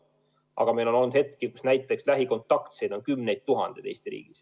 Aga meil on olnud hetki, kus lähikontaktseid on Eestis kümneid tuhandeid.